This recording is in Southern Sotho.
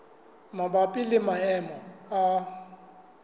e mabapi le maemo a